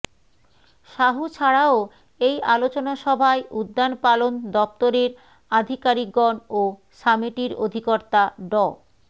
সাহু ছাড়াও এই আলোচনা সভায় উদ্যানপালন দপ্তরের আধিকারিকগন ও সামেটির অধিকর্তা ড